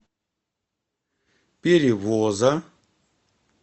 перевоза